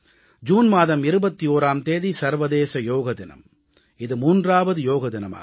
June மாதம் 21ஆம் தேதி சர்வதேச யோக தினம் இது 3வது யோக தினமாகும்